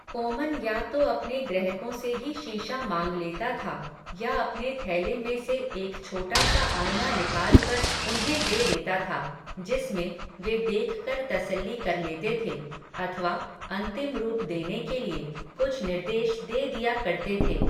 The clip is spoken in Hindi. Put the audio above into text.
कोमन या तो अपने ग्रहकों से ही शीशा माँग लेता था, या अपने थैले में से एक छोटा सा आइना निकालकर, उन्हें दे देता था, जिसमें, वे देख कर तसल्ली कर लेते थे, अथवा, अन्तिम रूप देने के लिए, कुछ निर्देश दे दिया करते थे